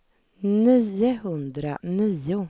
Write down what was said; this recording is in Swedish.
fyrtiosju tusen niohundrasextiofyra